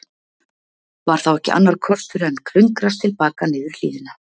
Var þá ekki annar kostur en klöngrast til baka niður hlíðina.